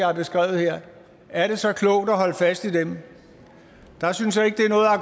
har beskrevet er det så klogt at holde fast i dem der synes jeg ikke